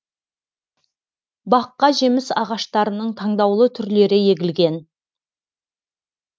баққа жеміс ағаштарының таңдаулы түрлері егілген